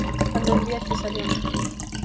Hönnun Védísar Jónsdóttur.